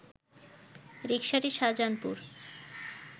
রিকসাটি Shahjahanpur